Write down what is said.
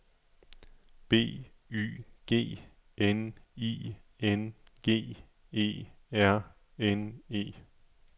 B Y G N I N G E R N E